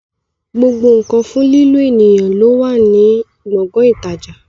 Gbogbo nkan fún lílo ènìyàn no ó wà ní gbọ̀ngàn ìtajà